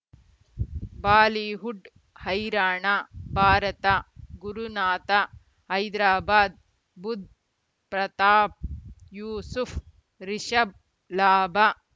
Bollywood ಹೈರಾಣ ಭಾರತ ಗುರುನಾಥ ಹೈದರಾಬಾದ್ ಬುಧ್ ಪ್ರತಾಪ್ ಯೂಸುಫ್ ರಿಷಬ್ ಲಾಭ